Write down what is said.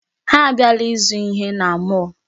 Ha abịala ịzụ ihe na mall.